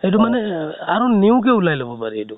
সেইটো মানে এহ আৰু new কে ওলাই লব পাৰি এইটো।